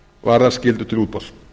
varðar skyldu til útboðs